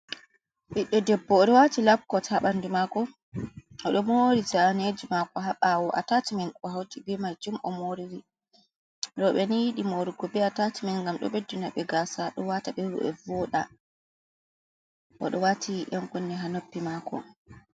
Biɗɗo debbo, o ɗo waati lapkot haa ɓanndu maako o ɗo moori, zaaneeji mako haa ɓaawo a taacimen ɗo hawti bee maajum on ɗo moori, rooɓe nii yiɗi moorugo bee atacimen ngam dm ɗo beddana ɓe gaasa ɗo waata ɓe vooɗa boo, o ɗo waati ƴan kunne haa noppi maako.